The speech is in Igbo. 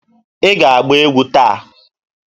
Ị ga-agba egwu taa!